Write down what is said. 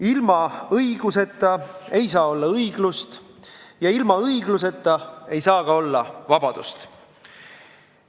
Ilma õiguseta ei saa olla õiglust ja ilma õigluseta ei saa ka olla vabadust.